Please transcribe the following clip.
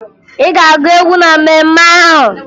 Ị ga-agụ egwu na mmemme ahụ!